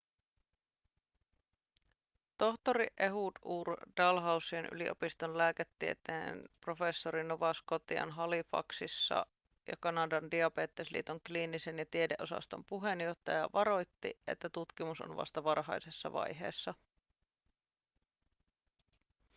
tohtori ehud ur dalhousien yliopiston lääketieteen professori nova scotian halifaxissa ja kanadan diabetesliiton kliinisen ja tiedeosaston puheenjohtaja varoitti että tutkimus on vasta varhaisessa vaiheessa